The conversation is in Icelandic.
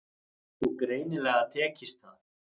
Og greinilega tekist það.